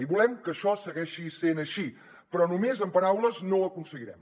i volem que això segueixi sent així però només amb paraules no ho aconseguirem